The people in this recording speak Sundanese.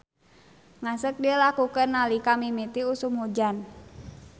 Ngaseuk dilakukeun nalika mimiti usum hujan.